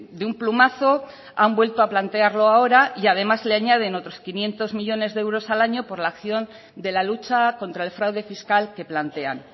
de un plumazo han vuelto a plantearlo ahora y además le añaden otros quinientos millónes de euros al año por la acción de la lucha contra el fraude fiscal que plantean